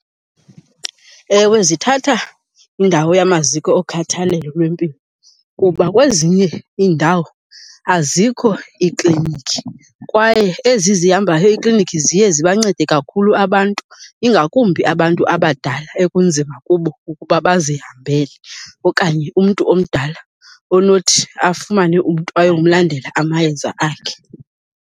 Ewe, zithatha indawo yamaziko okhathalelo lwempilo kuba kwezinye iindawo azikho iiklinikhi kwaye ezi zihambayo iiklinikhi ziye zibancede kakhulu abantu ingakumbi abantu abadala ekunzima kubo ukuba bazihambele, okanye umntu omdala onothi afumane umntu ayomlandela amayeza akhe.